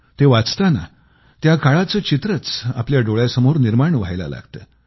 ते वाचताना त्या काळाचं चित्रच आपल्या डोळ्यासमोर निर्माण व्हायला लागतं